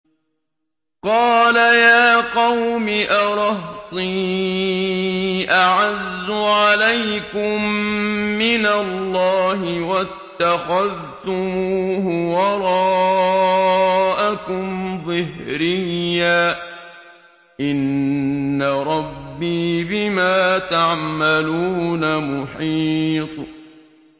قَالَ يَا قَوْمِ أَرَهْطِي أَعَزُّ عَلَيْكُم مِّنَ اللَّهِ وَاتَّخَذْتُمُوهُ وَرَاءَكُمْ ظِهْرِيًّا ۖ إِنَّ رَبِّي بِمَا تَعْمَلُونَ مُحِيطٌ